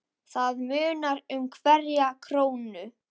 Það munar um hverja krónu.